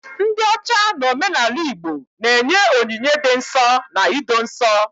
ndị ocha n'omenala Igbo na-enye onyinye dị nsọ na ido nsọ